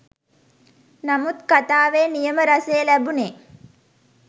නමුත් කතාවෙ නියම රසය ලැබුනේ